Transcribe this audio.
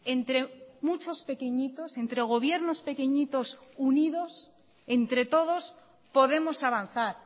entre muchos pequeñitos entre gobiernos pequeñitos unidos entre todos podemos avanzar